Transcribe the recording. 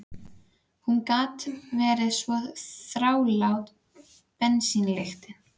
Hún gat verið svo þrálát, bensínlyktin.